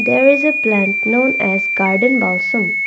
there is a plant known as garden Mausam